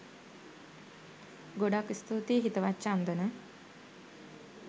ගොඩාක් ස්තුතියි හිතවත් චන්දන